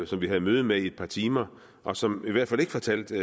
som vi havde møde med i et par timer og som i hvert fald ikke fortalte